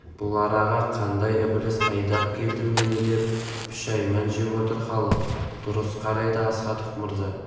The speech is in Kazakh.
бұл араға қандай ібіліс айдап келді мені деп пүшәйман жеп отыр халық дұрыс қарайды астахов мырза